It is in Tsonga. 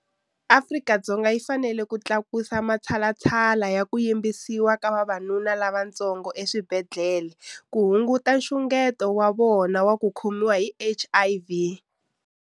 Afrika-Dzonga yi fanele yi tlakusa matshalatshala ya ku yimbisa ka vavanuna lavatsongo exibedhlele ku hunguta nxungeto wa vona wa ku khomiwa hi HIV.